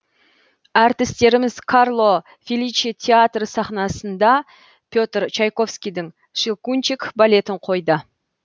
әртістеріміз карло феличе театры сахнасында петр чайковскийдің щелкунчик балетін қойды